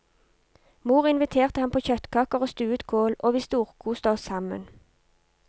Mor inviterte ham på kjøttkaker og stuet kål, og vi storkoste oss sammen.